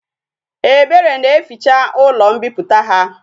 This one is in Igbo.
Ebere na eficha ulo mpiputa ha